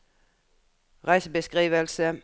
reisebeskrivelse